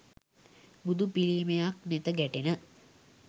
බුදු පිළිමයක් නෙත ගැටෙන